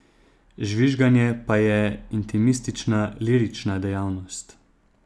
Žvižganje pa je intimistična, lirična dejavnost.